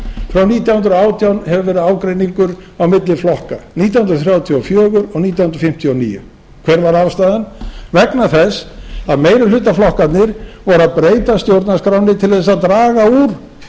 frá nítján hundruð og átján hefur verið ágreiningur á milli flokka nítján hundruð þrjátíu og fjögur og nítján hundruð fimmtíu og níu hver var ástæðan vegna þess að meirihlutaflokkarnir voru að breyta stjórnarskránni til að draga úr